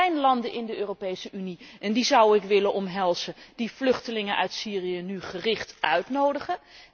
Er zijn landen in de Europese Unie en die zou ik willen omhelzen die vluchtelingen uit Syrië nu gericht uitnodigen.